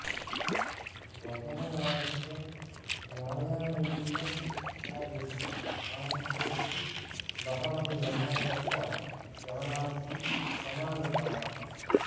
मदनलालस्य न्यायालयीयकार्यस्य आरम्भे सति बहवः जनाः तत्र श्रवणार्थं समागताः